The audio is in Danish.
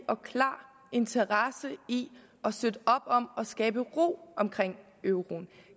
og klar interesse i at støtte op om at skabe ro omkring euroen